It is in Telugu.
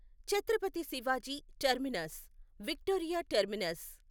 Chhatrapati Shivaji Terminus Victoria terminus